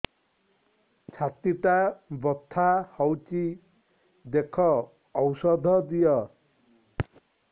ଛାତି ଟା ବଥା ହଉଚି ଦେଖ ଔଷଧ ଦିଅ